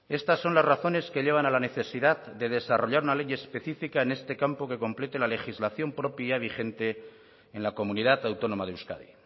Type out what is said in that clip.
estas son las razones que llevan a la necesidad de desarrollar una ley específica en este campo que complete la legislación propia vigente en la comunidad autónoma de euskadi